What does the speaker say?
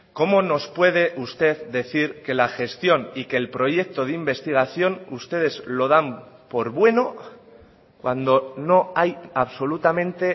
cómo nos puede usted decir que la gestión y que el proyecto de investigación ustedes lo dan por bueno cuando no hay absolutamente